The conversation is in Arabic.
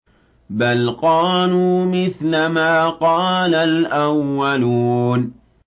بَلْ قَالُوا مِثْلَ مَا قَالَ الْأَوَّلُونَ